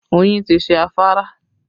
Oyin ti ṣe afárá